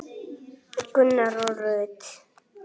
Gunnar og Rut.